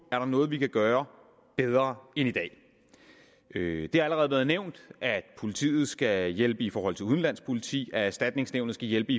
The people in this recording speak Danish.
der er noget vi kan gøre bedre end i dag det har allerede været nævnt at politiet skal hjælpe i forhold til udenlandsk politi at erstatningsnævnet skal hjælpe